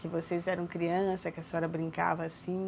Que vocês eram criança, que a senhora brincava assim?